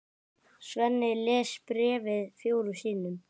Svenni les bréfið fjórum sinnum.